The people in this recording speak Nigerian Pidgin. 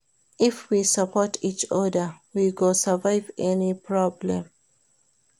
If we support each oda, we go survive any problem.